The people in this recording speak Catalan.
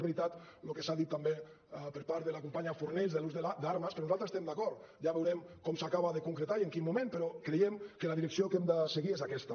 és veritat el que s’ha dit també per part de la companya fornells de l’ús d’armes però nosaltres hi estem d’acord ja veurem com s’acaba de concretar i en quin moment però creiem que la direcció que hem de seguir és aquesta